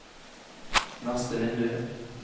neste vindu